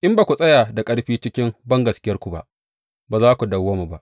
In ba ku tsaya da ƙarfi cikin bangaskiyarku ba, ba za ku dawwama ba.’